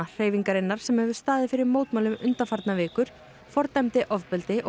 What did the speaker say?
hreyfingarinnar sem hefur staðið fyrir mótmælum undanfarnar vikur fordæmdi ofbeldi og